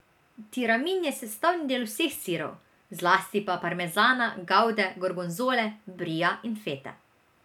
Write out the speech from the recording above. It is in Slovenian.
Tiramin je sestavni del vseh sirov, zlasti pa parmezana, gavde, gorgonzole, bria in fete.